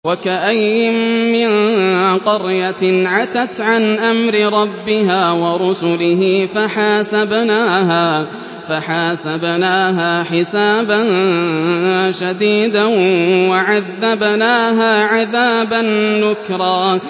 وَكَأَيِّن مِّن قَرْيَةٍ عَتَتْ عَنْ أَمْرِ رَبِّهَا وَرُسُلِهِ فَحَاسَبْنَاهَا حِسَابًا شَدِيدًا وَعَذَّبْنَاهَا عَذَابًا نُّكْرًا